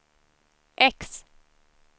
X